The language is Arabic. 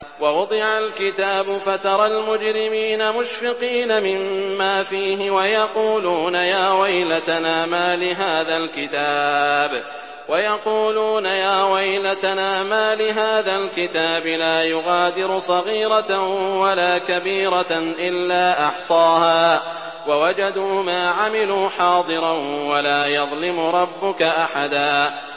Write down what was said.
وَوُضِعَ الْكِتَابُ فَتَرَى الْمُجْرِمِينَ مُشْفِقِينَ مِمَّا فِيهِ وَيَقُولُونَ يَا وَيْلَتَنَا مَالِ هَٰذَا الْكِتَابِ لَا يُغَادِرُ صَغِيرَةً وَلَا كَبِيرَةً إِلَّا أَحْصَاهَا ۚ وَوَجَدُوا مَا عَمِلُوا حَاضِرًا ۗ وَلَا يَظْلِمُ رَبُّكَ أَحَدًا